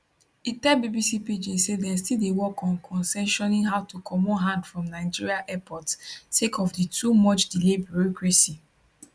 e tell bbc pidgin say dem still dey work on concessioning how to comot hand from nigeria airports sake of di too much delay bureaucracy